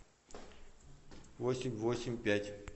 восемь восемь пять